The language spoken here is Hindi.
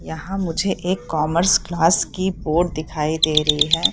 यहां मुझे एक कॉमर्स क्लास की बोर्ड दिखाई दे रही है।